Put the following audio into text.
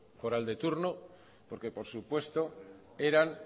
foral de turno porque por supuesto eran